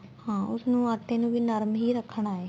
ਹਾਂ ਉਸ ਨੂੰ ਆਟੇ ਨੂੰ ਵੀ ਨਰਮ ਹੀ ਰੱਖਣਾ ਏ